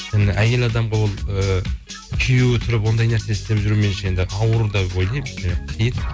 енді әйел адамға ол ы күйеуі тұрып ондай нәрсе істеп жүру меніңше енді ауыр деп ойлаймын иә қиын